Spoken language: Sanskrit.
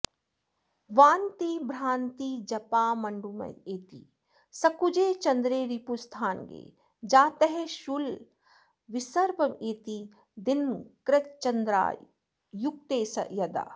वान्तिभ्रान्तिजपाण्डुमेति सकुजे चन्द्रे रिपुस्थान्गे जातः शूलविसर्पमेति दिनकृच्चन्द्रारयुक्ते यदा